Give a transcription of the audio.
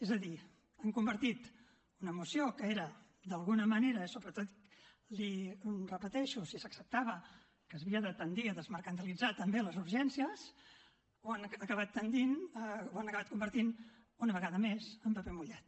és a dir han convertit una moció que era d’alguna manera sobretot l’hi repeteixo si s’acceptava que s’havia de tendir a desmercantilitzar també les urgències ho han acabat convertint una vegada més en paper mullat